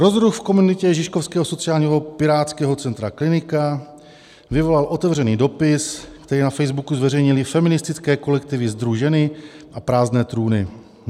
Rozruch v komunitě žižkovského sociálního pirátského centra Klinika vyvolal otevřený dopis, který na Facebooku zveřejnily feministické kolektivy SdruŽeny a Prázdné trůny.